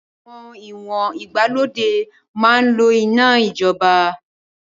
Àwọn ìwọ̀n ìgbàlódé máa ń lò iná ìjọba